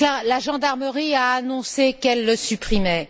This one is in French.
La gendarmerie a annoncé qu'elle le supprimait.